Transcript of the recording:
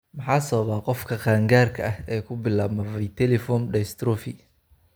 Maxaa sababa qofka qaangaarka ah ee ku bilaabma viteliform dystrophy?